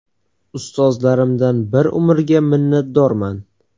Ustozlarimdan bir umrga minnatdorman.